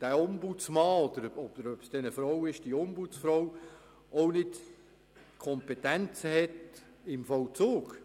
Der Ombudsmann oder die Ombudsfrau hätte zudem keine Kompetenzen im Vollzug.